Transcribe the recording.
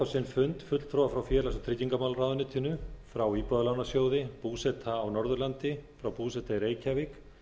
sinn fund fulltrúa frá félags og tryggingamálaráðuneytinu frá íbúðalánasjóði búseta á norðurlandi búseta í reykjavík